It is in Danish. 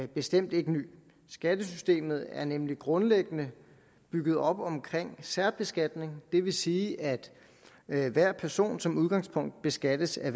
bestemt ikke ny skattesystemet er nemlig grundlæggende bygget op omkring særbeskatning det vil sige at at hver person som udgangspunkt beskattes af